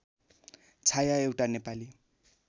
छाया एउटा नेपाली